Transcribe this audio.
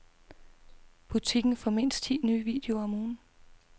Butikken får mindst ti nye videoer om ugen.